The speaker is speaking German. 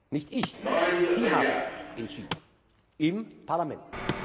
Nicht ich, Sie haben entschieden im Parlament.